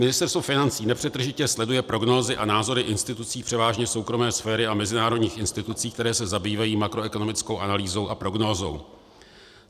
Ministerstvo financí nepřetržitě sleduje prognózy a názory institucí převážně soukromé sféry a mezinárodních institucí, které se zabývají makroekonomickou analýzou a prognózou.